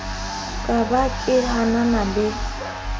ka ba ke hanana le